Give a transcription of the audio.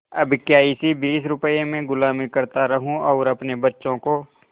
अब क्या इसी बीस रुपये में गुलामी करता रहूँ और अपने बच्चों को